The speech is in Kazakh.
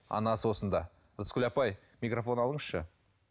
анасы осында рыскүл апай микрофон алыңызшы